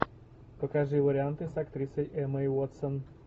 покажи варианты с актрисой эммой уотсон